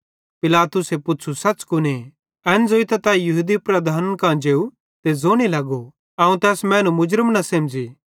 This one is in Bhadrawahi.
पिलातुसे पुच़्छ़ू सच़ कुने एन ज़ोइतां तै यहूदी लीडरन कां जेव ते ज़ोने लगो अवं त एस मैनू मुरज़म न सेमझ़ी